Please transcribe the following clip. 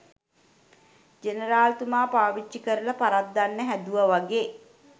general තුමා පාවිච්චි කරලා පරද්දන්න හැදුවා වගෙ